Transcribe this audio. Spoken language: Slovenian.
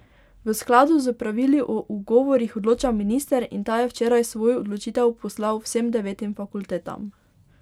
V skladu s pravili o ugovorih odloča minister in ta je včeraj svojo odločitev poslal vsem devetim fakultetam.